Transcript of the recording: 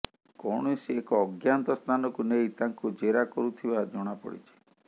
କୌଣସି ଏକ ଅଜ୍ଞାତ ସ୍ଥାନକୁ ନେଇ ତାଙ୍କୁ ଜେରା କରୁଥିବା ଜଣାପଡିଛି